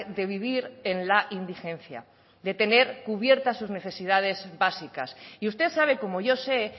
de vivir en la indigencia de tener cubiertas sus necesidades básicas y usted sabe como yo sé